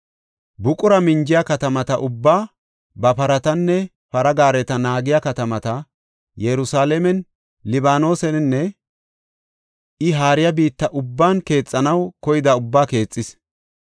buqura minjiya katamata ubbaa, ba paratanne para gaareta naagiya katamata, Yerusalaamen, Libaanoseninne I haariya biitta ubban keexanaw koyida ubbaa keexis.